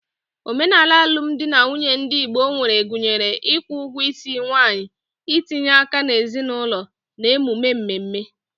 Omenala alụmdi na nwunye ndị Igbo nwere gụnyere ịkwụ ugwo isi nwanyi, itinye aka n’ezinụlọ, na emume mmemme.